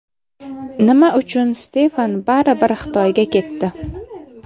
Nima uchun Stefan baribir Xitoyga ketdi?